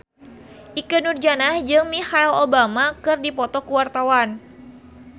Ikke Nurjanah jeung Michelle Obama keur dipoto ku wartawan